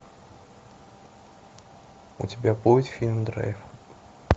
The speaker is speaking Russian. у тебя будет фильм драйв